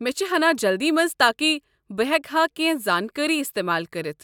مےٚ چھےٚ ہنا جلدی منز تاكہِ بہٕ ہیكہا كینہہ زانكٲری استمال كرِتھ ۔